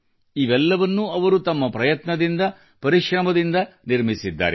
ಇವೆಲ್ಲವನ್ನೂ ಅವರು ತಮ್ಮ ಪ್ರಯತ್ನದಿಂದ ಪರಿಶ್ರಮದಿಂದಲೇ ನಿರ್ಮಿಸಿದ್ದಾರೆ